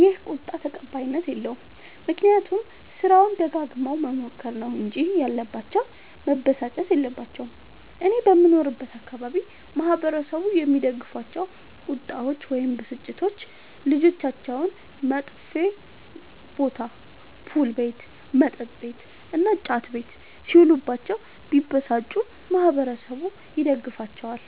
ይህ ቁጣ ተቀባይኀት የለዉም። ምክንያቱም ስራዉን ደጋግመዉ መሞከር ነዉ እንጂ ያለባቸዉ መበሳጨት የለባቸዉም። እኔ በምኖርበት አካባቢ ማህበረሰቡ የሚደግፋቸዉ ቁጣዎች ወይም ብስጭቶች ልጆቻቸዉ መጥፌ ቦታ[ፑል ቤት መጥ ቤት እና ጫት ቤት ]ሢዉሉባቸዉ ቢበሳጩ ማህበረሠቡ ይደግፋቸዋል።